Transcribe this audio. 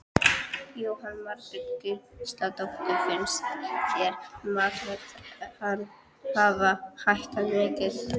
Jóhanna Margrét Gísladóttir: Finnst þér matarverð hafa hækkað mikið?